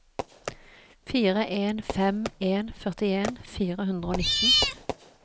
fire en fem en førtien fire hundre og nitten